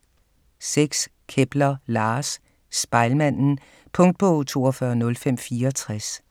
6. Kepler, Lars: Spejlmanden Punktbog 420564